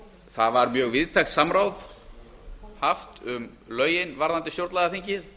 það var mjög víðtækt samráð haft um lögin varðandi stjórnlagaþingið